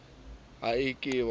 ha e ke e binwa